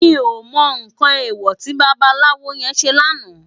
Mi ó mò nkán éwò ti babalawo yèn sé làná